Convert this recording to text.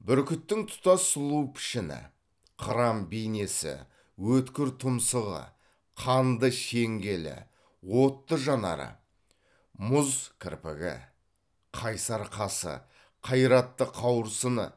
бүркіттің тұтас сұлу пішіні қыран бейнесі өткір тұмсығы қанды шеңгелі отты жанары мұз кірпігі қайсар қасы қайратты қауырсыны